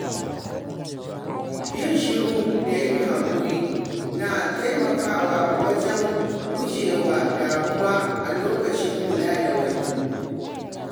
Yin shiru da yin hakuri na taimakawa wajen guje wa damuwa a lokacin kula da wani.